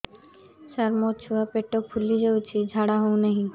ସାର ମୋ ଛୁଆ ପେଟ ଫୁଲି ଯାଉଛି ଝାଡ଼ା ହେଉନାହିଁ